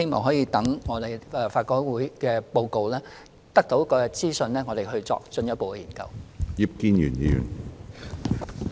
所以，我們很希望待法改會提交報告，得到相關資訊後，才再作進一步的研究。